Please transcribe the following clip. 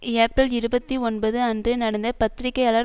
ஏப்பிரல் இருபத்தி ஒன்பது அன்று நடந்த பத்திரிகையாளர்